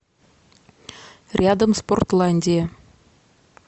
рядом спортландия